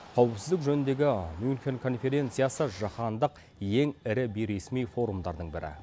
қауіпсіздік жөніндегі мюнхен конференциясы жаһандық ең ірі бейресми форумдардың бірі